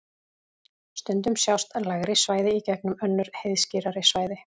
stundum sjást lægri svæði í gegnum önnur heiðskírari svæði